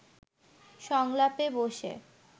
সংলাপে বসে